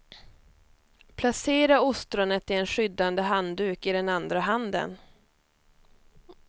Placera ostronet i en skyddande handduk i den andra handen.